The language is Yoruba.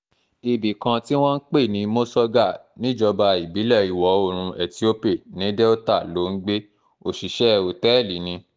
ibì kan tí wọ́n ń pè ní mosogar níjọba ìbílẹ̀ ìwọ̀-oòrùn ethiope ní delta ló ń gbé òṣìṣẹ́ òtẹ́ẹ̀lì ni